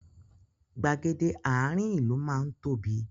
Gbàgede àárín ìlú má ń tóbi